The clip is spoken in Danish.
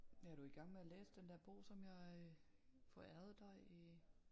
Er du i gang med at læse den der bog som jeg forærede dig i